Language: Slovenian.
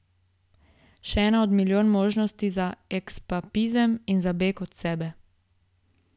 Še ena od milijon možnosti za eskapizem in za beg od sebe.